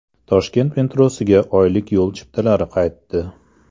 Toshkent metrosiga oylik yo‘l chiptalari qaytdi .